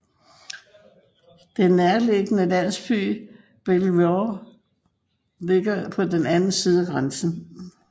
Den nærliggende landsby Belvoir ligger på den anden side af grænsen